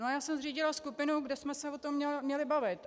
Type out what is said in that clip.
No a já jsem zřídila skupinu, kde jsme se o tom měli bavit.